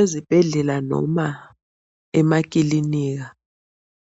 Ezibhedlela noma emakilinika